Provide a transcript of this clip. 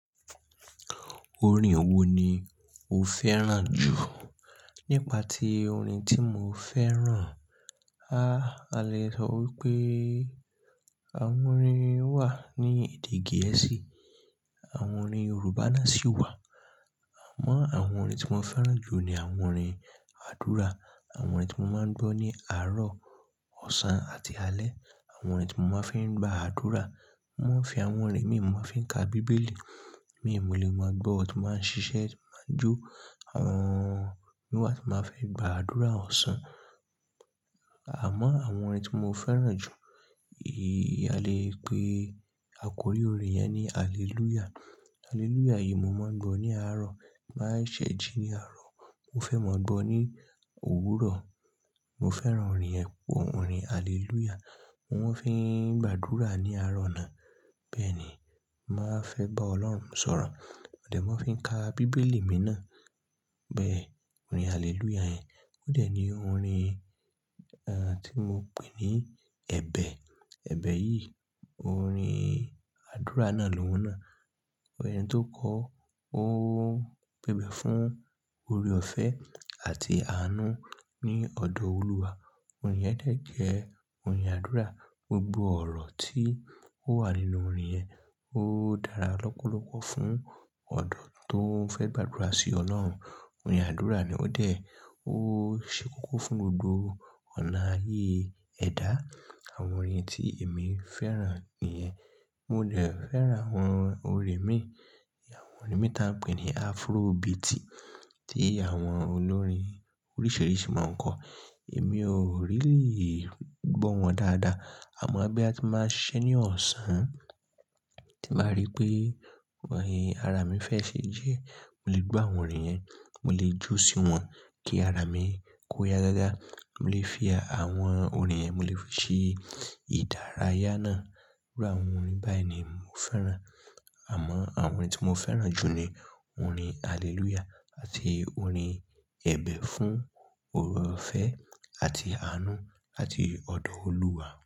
Orin wo ni o fẹ́ràn jù? Nípa ti orin tí mo fẹ́ràn, háa a lè sọ wípé àwọn orin wà ní èdè Gẹ̀ẹ́sì, àwọn orin Yorùbá náà sì wà. Àmọ́ àwọn orin tí mo fẹ́ràn jù ni àwọn orin àdúrà, àwọn orin tí mo máa ń gbọ́ ní àárọ̀, ọ̀sán àti alẹ́. Àwọn orin tí mo máa ń fi gba àdúrà, mo máa ń fi àwọn orin mi mo máa ń fi ka Bíbélì, mi ò mo lẹ̀, mo máa gbọ́, ti mo ba ń ṣiṣẹ́, mo máa jó, àwọn mi wà tí màá fi gba àdúrà ọ̀sán. Àmọ́ àwọn orin tí mo fẹ́ràn jù, èyí a lè pè àkórí orin yẹn ni Hallelujah. Hallelujah yìí mo máa ń gbọ́ ní àárọ̀, ti n ba ṣẹ́ ji ní àárọ̀, mo fẹ́ máa gbọ́ ní òwúrọ̀. Mo fẹ́ràn orin yen, orin Hallelujah, mo máa ń fi gba àdúrà ní àárọ̀ náà. Bẹ́ẹ̀ ni, màá fe bá Ọlọ́run sọ̀rọ̀. Modẹ̀ máa ń fi ka Bíbélì mi náà. Bẹ́ẹ̀ orin Hallelujah yẹn. Óde ní orin, ẹ́ ti mo pè ní ẹ̀bẹ̀. Ẹ̀bẹ̀ yìí orin àdúrà náà ni oun náà. Ẹni tó kọ ó pẹ̀bẹ̀ fún oore-ọ̀fẹ́ àti àánú ní ọ̀dọ̀ Olúwa. Orin yẹn dẹ̀ jẹ́ orin àdúrà. Gbogbo ọ̀rọ̀ tí ó wà nínú orin yẹn ó dára lọ́pọ̀lọ́pọ̀ fún ọ̀dọ́ tó fẹ́ gba àdúrà sí Ọlọ́run. Orin àdúrà ni ó dẹ̀, ó ṣe kókó fún gbogbo ọ̀nà ayé ẹ̀dá. Àwọn orin tí èmi fẹ́ràn nìyẹn. Mo dẹ̀ fẹ́ràn àwọn orin mí, àwọn orin mí ta n pè ní Afrobeat tí àwọn olórin oríṣìíríṣìí máa ń kọ. Èmi ò really gbọ́ wọn dáadáa. Àmọ́ bí a ti máa ń ṣiṣẹ́ ní ọ̀sán, tí màá rí pé orin ara mi fẹ́ ṣe jẹ́, mo lè gbọ́ àwọn orin yẹn, mo lè jó sí wọn kí ara mi kó ya gágá. Mo lè fi àwọn orin yẹn, mo lè fi ṣe ìdárayá náà. Íru àwọn orin báyìí ni mo fẹ́ràn. Àmọ́ àwọn orin tí mo fẹ́ràn jù ni orin Hallelujah àti orin ẹ̀bẹ̀ fún oore-ọ̀fẹ́ àti àánú àti ọ̀dọ̀ Olúwa.